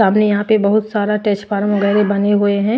सामने यहां पे बहुत सारा टच फार्म वगैरह बने हुए है।